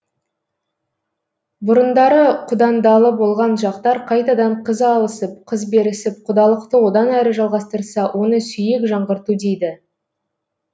бұрындары құдандалы болған жақтар қайтадан қыз алысып қыз берісіп құдалықты одан әрі жалғастырса оны сүйек жаңғырту дейді